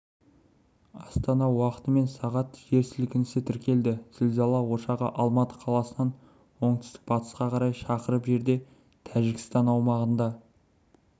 астана уақытымен сағат жер сілкінісі тіркелді зілзала ошағы алматы қаласынан оңтүстік-батысқа қарай шақырым жерде тәжікстан аумағында